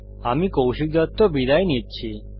আমি কৌশিক দত্ত বিদায় নিচ্ছি